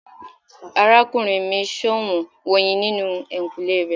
Arakunrin mi ṣọwọn oyin ninu ehinkunle rẹ